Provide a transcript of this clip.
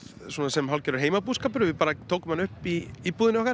sem hálfgerður heimabúskapur við bara tókum hana upp í íbúðinni okkar